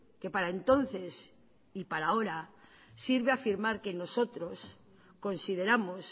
que para entonces y para ahora sirve afirmar que nosotros consideramos